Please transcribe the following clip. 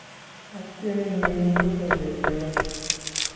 ating'enin logoiwek che miach